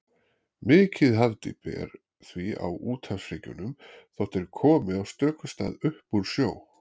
Mikið hafdýpi er því á úthafshryggjunum, þótt þeir komi á stöku stað upp úr sjó.